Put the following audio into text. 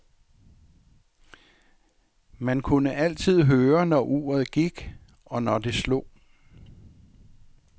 Man kunne altid høre, når uret gik, og når det slog.